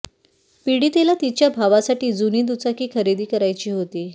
पीडितेला तिच्या भावासाठी जुनी दुचाकी खरेदी करायची होती